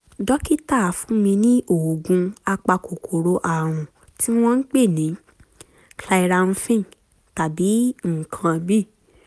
dókítà fún mi ní oògùn apakòkòrò ààrùn tí wọ́n ń pè ní clyramphin tàbí nǹkan míì